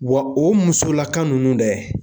Wa o musolaka nunnu dɛ